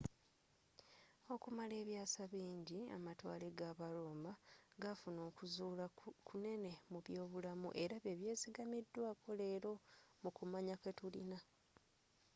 okumala ebyasa bingi amatwale g'aba roma gafuna okuzzula kunene mu byobulamu era byebyesiggamidwako lero mu kumanya kwetulina